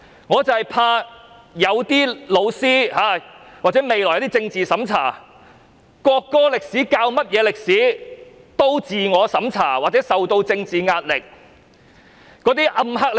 我很怕教師未來教授國歌歷史時，會自我審查或受到政治壓力。